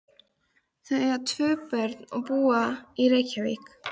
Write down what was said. Þau eiga tvö börn og búa í Reykjavík.